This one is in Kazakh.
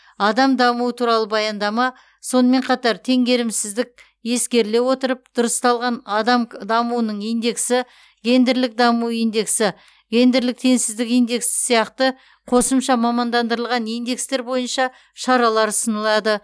адам дамуы туралы баяндама сонымен қатар теңгерімсіздік ескеріле отырып дұрысталған адам дамуының индексі гендерлік даму индексі гендерлік теңсіздік индексі сияқты қосымша мамандандырылған индекстер бойынша шаралар ұсынылады